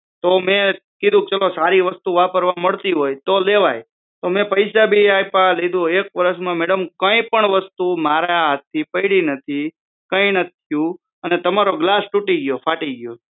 તો મે કીધું ચાલો સારી વસ્તુ વાપરવા મળતી હોય તો લેવાય તો મે પૈસા ભી આયપા એક વર્ષ માં મેડમ કોઈ પણ વસ્તુ મારા હાથથી પયડી નથી કંઈ નથી થ્યું અને તમારો ગ્લાસ તૂટી ગ્યો ફાટી ગ્યો